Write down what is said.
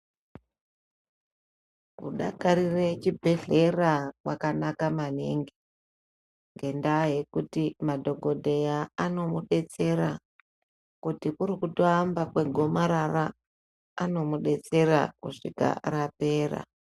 Ku dakarire chibhedhleya kwakanaka maningi ngendaa yekuti madhokodheya ano mudetsera kuti kuri kuto yamba kwe gomarara anomu detsera kusvika rapera.